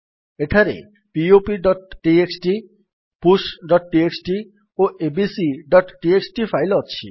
ଏଠାରେ poptxtpushଟିଏକ୍ସଟି ଓ abcଟିଏକ୍ସଟି ଫାଇଲ୍ ଅଛି